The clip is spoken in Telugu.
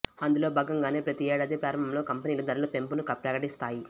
అందులో భాగంగానే ప్రతి ఏడాది ప్రారంభంలో కంపెనీలు ధరల పెంపును ప్రకటిస్తాయి